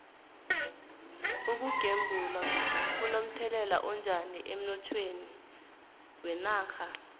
ukugembula kuno mthelela onjani emnothweni wenarha